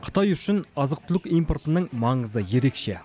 қытай үшін азық түлік импортының маңызы ерекше